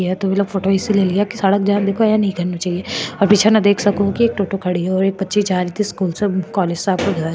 ये फोटो इसलिए लिया जह देखो यह निचे देख सको की --